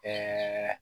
Ɛɛ